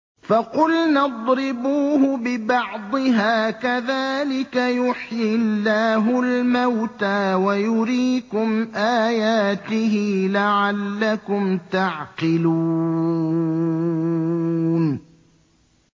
فَقُلْنَا اضْرِبُوهُ بِبَعْضِهَا ۚ كَذَٰلِكَ يُحْيِي اللَّهُ الْمَوْتَىٰ وَيُرِيكُمْ آيَاتِهِ لَعَلَّكُمْ تَعْقِلُونَ